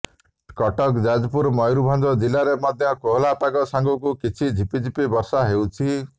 କଟକ ଯାଜପୁର ମୟୂରଭଞ୍ଜ ଜିଲ୍ଲାରେ ମଧ୍ୟ କୋହଲା ପାଗ ସାଙ୍ଗକୁ କିଛି ଝିପିଝିପି ବର୍ଷା ହେଉଛି